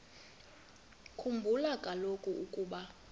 khumbula kaloku ukuba